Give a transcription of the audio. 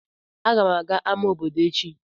Agam aga ama obodo echi.